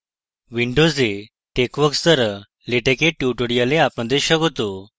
windows texworks দ্বারা latex dear tutorial আপনাদের স্বাগত